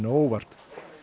á óvart